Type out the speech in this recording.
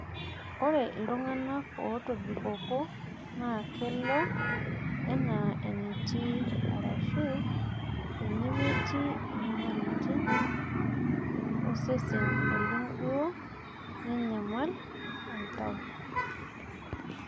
ore toltunganak otoibikoko na kelo anaa enetii arashu enemetii inyamalitin osesen oleng duo enyamali oltau